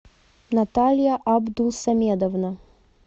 наталья абдусамедовна